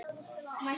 Nóttin er ung